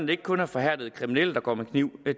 det ikke kun er forhærdede kriminelle der går med kniv